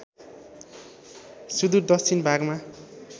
सुदूर दक्षिण भागमा